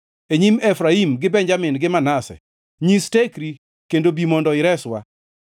e nyim Efraim, gi Benjamin gi Manase. Nyis tekri, kendo bi mondo ireswa.